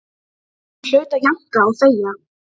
Ég hlaut að jánka og þegja.